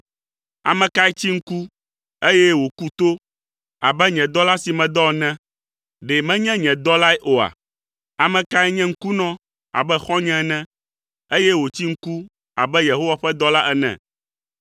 Ame kae tsi ŋku, eye wòku to abe nye dɔla si medɔ la ene, ɖe menye nye dɔlae oa? Ame kae nye ŋkunɔ abe xɔ̃nye ene, eye wòtsi ŋku abe Yehowa ƒe dɔla ene?